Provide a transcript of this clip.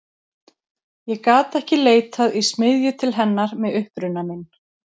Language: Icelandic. Ég gat ekki leitað í smiðju til hennar með uppruna minn.